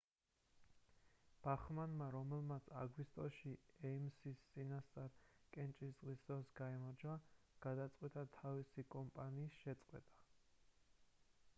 ბახმანმა რომელმაც აგვისტოში ეიმსის წინასწარი კენჭისყრის დროს გაიმარჯვა გადაწყვიტა თავისი კამპანიის შეწყვეტა